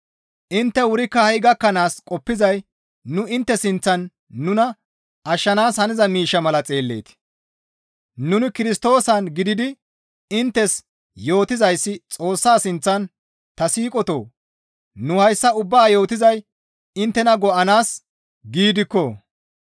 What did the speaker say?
Intte wurikka ha7i gakkanaas qoppizay nu intte sinththan nuna ashshanaas haniza miishsha mala xeelleetii? Nuni Kirstoosan gididi inttes yootizayssi Xoossa sinththana. Ta siiqotoo! Nu hayssa ubbaa yootizay inttena go7anaas giidikko!